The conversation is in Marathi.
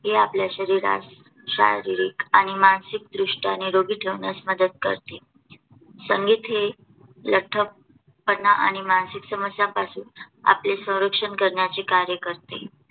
हे आपल्या शरीरास शारीरिक आणी मानसिक दृष्ट्या निरोगी ठेवण्यास मदत करते. संगीत हे लठ्ठपणा आणि मानसिक समस्यांपासून आपले संरक्षण करण्याचे कार्य करते.